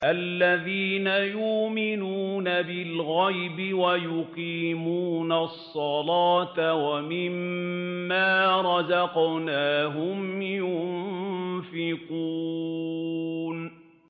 الَّذِينَ يُؤْمِنُونَ بِالْغَيْبِ وَيُقِيمُونَ الصَّلَاةَ وَمِمَّا رَزَقْنَاهُمْ يُنفِقُونَ